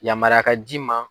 Yamaraya ka d'i ma.